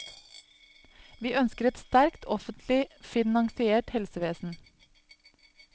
Vi ønsker et sterkt, offentlig finansiert helsevesen.